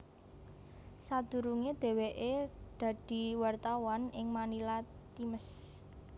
Sadurunge dheweke dadi wartawan ing Manila Times